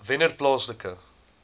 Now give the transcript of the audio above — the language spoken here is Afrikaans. wennerplaaslike